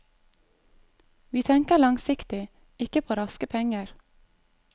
Vi tenker langsiktig, ikke på raske penger.